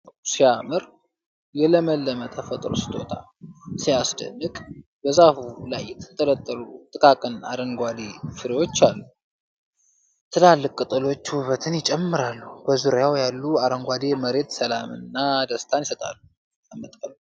ዋው ሲያምር! የለምለም ተፈጥሮ ስጦታ! ሲያስደንቅ! በዛፉ ላይ የተንጠለጠሉ ጥቃቅን አረንጓዴ ፍሬዎች አሉ። ትላልቅ ቅጠሎች ውበትን ይጨምራሉ። በዙሪያው ያለው አረንጓዴ መሬት ሰላምና ደስታን ያመጣል።